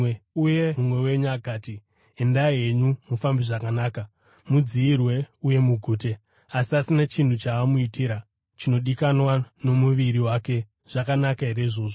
uye mumwe wenyu akati, “Endai henyu, mufambe zvakanaka; mudziyirwe uye mugute,” asi asina chinhu chaamuitira chinodikanwa nomuviri wake, zvakanaka here izvozvo?